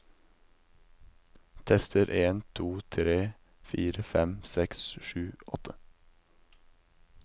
Tester en to tre fire fem seks sju åtte